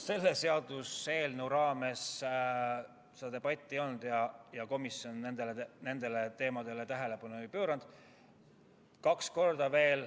Selle seaduseelnõu raames seda debatti ei olnud ja komisjon nendele teemadele tähelepanu ei pööranud.